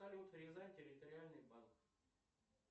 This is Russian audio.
салют рязань территориальный банк